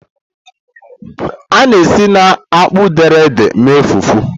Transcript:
A na-esi na akpụ dere ede mee fufu.